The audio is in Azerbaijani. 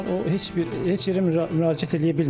O heç bir, heç yerə müraciət eləyə bilmir.